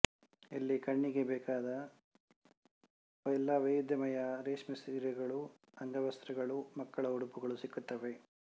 ಇಲ್ಲಿ ಕಣ್ಣಿಗೆ ಬೇಕಾದ ಎಲ್ಲ ವೈವಿದ್ಯಮಯ ರೇಷ್ಮೆ ಸೀರೆಗಳು ಅಂಗವಸ್ತ್ರಗಳು ಮಕ್ಕಳ ಉಡುಪುಗಳು ಸಿಕ್ಕುತ್ತವೆ